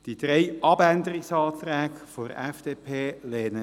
Wir lehnen die drei Abänderungsanträge der FDP ab.